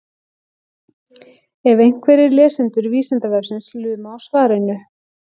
ef einhverjir lesendur vísindavefsins luma á svarinu